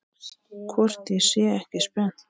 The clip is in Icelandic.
Hvort ég sé ekki spennt?